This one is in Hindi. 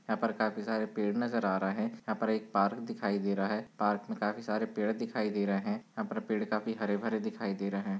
यहाँ पर काफी सारे पेड़ नजर आ रहा है यहाँ पर एक पार्क दिखाई दे रह है पार्क में काफी सारे पेड़ दिखाई दे रहे हैं यहाँ पर पेड़ काफी हरे-भरे दिखाई दे रहे हैं।